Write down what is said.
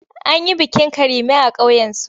An yi bikin Karime a ƙauyensu.